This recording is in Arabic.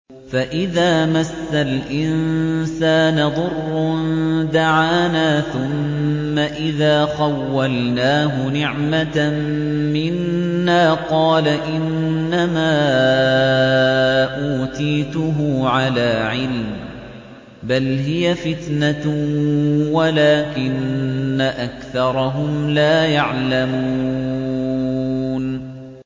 فَإِذَا مَسَّ الْإِنسَانَ ضُرٌّ دَعَانَا ثُمَّ إِذَا خَوَّلْنَاهُ نِعْمَةً مِّنَّا قَالَ إِنَّمَا أُوتِيتُهُ عَلَىٰ عِلْمٍ ۚ بَلْ هِيَ فِتْنَةٌ وَلَٰكِنَّ أَكْثَرَهُمْ لَا يَعْلَمُونَ